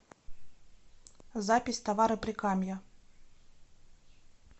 запись товары прикамья